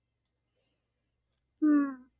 হম